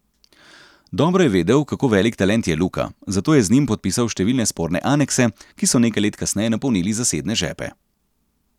Dobro je vedel, kako velik talent je Luka, zato je z njim podpisal številne sporne anekse, ki so nekaj let kasneje napolnili zasebne žepe.